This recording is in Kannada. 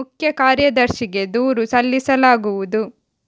ಮುಖ್ಯ ಕಾರ್ಯದರ್ಶಿಗೆ ದೂರು ಸಲ್ಲಿಸಲಾಗುವುದು